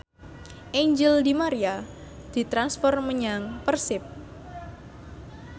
Angel di Maria ditransfer menyang Persib